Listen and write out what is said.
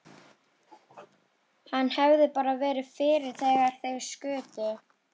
Hann hefði bara verið fyrir þegar þeir skutu.